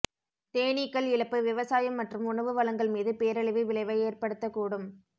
தேனீக்கள் இழப்பு விவசாயம் மற்றும் உணவு வழங்கல் மீது பேரழிவு விளைவை ஏற்படுத்தக்கூடும்